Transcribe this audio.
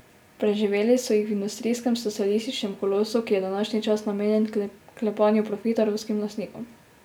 Preživeli so jih v industrijskem socialističnem kolosu, ki je današnji čas namenjen klepanju profita ruskim lastnikom.